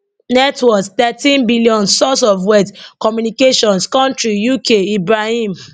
net worth thirteen billion source of wealth communications country UK ibrahim